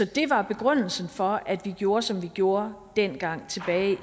det var begrundelsen for at vi gjorde som vi gjorde dengang tilbage i